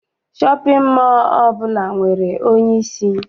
Shọpịn mọọ ọbụla nwere onyeisi.